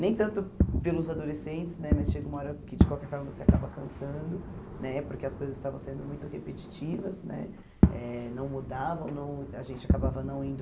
Nem tanto pelos adolescentes né, mas chega uma hora que de qualquer forma você acaba cansando, né porque as coisas estavam sendo muito repetitivas né, eh não mudavam, não a gente acabava não indo...